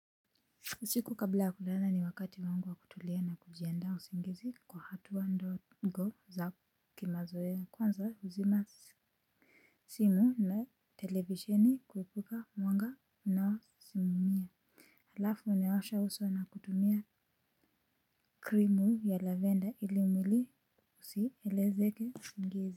Usiku kabla ya kulala ni wakati wangu wa kutulia na kujiandaa usingizi kwa hatua ndogo za kimazoea kwanza zima simu na televisheni kuepuka mwanga unaosimumia halafu unaosha uso na kutumia krimu ya lavender ili mwili usielezeke usingizi.